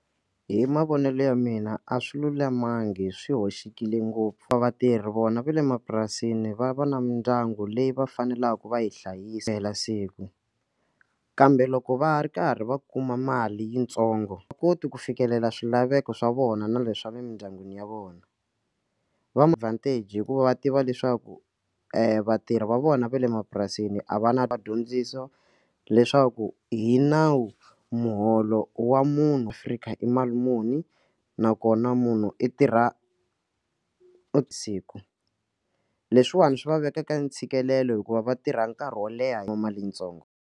Hi mavonelo ya mina a swi lulamanga swi hoxekile ngopfu va vatirhi vona va le mapurasini va va na mindyangu leyi va faneleke va yi hlayisela siku kambe loko va ha ri karhi va kuma mali yitsongo a va koti ku fikelela swilaveko swa vona na leswaku emindyangwini va na advantage hikuva va tiva leswaku vatirhi va vona va le mapurasini a va na vadyondzisa leswaku hi nawu muholo wa munhu Afrika i mali muni nakona munhu i tirha vusiku leswiwani swi va vekaka ntshikelelo hikuva va tirha nkarhi wo leha hi mali yitsongo.